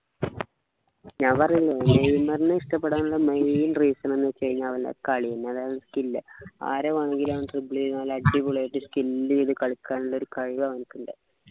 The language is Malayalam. ഞാൻ പറഞ്ഞില്ലേ നെയ്മർ നെ ഇഷ്ടപ്പെടാനുള്ള main reason എന്ന് വെച്ച് കഴിഞ്ഞാൽ അവൻ്റെ കളി അതായത് skill ആര് ആണെങ്കിലും dribble ചെയ്യുന്ന പോലെ അടിപൊളി ആയിട്ട് skill ചെയ്തു കളിക്കാനൊരു കഴിവ് അവനിക്ക് ഉണ്ട്